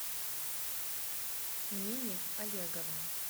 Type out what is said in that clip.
нине олеговне